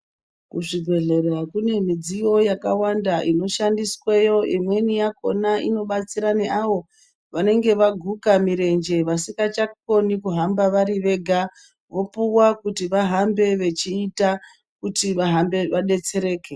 Kuzvibhehlera kune midziyo yakawanda inoshandiswayo imweni yakona inobatsira neavo vanenge vaguka mirenje vasingachakoni kuhamba vari vega vopuwa kuti vahambe vachiita kuti vadetsereke